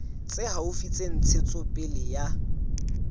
tse haufi tsa ntshetsopele ya